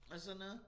Og sådan noget